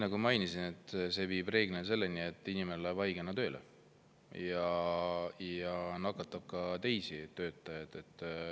Nagu ma mainisin, see viib reeglina selleni, et inimene läheb haigena tööle ja nakatab ka teisi töötajaid.